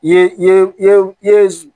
Ye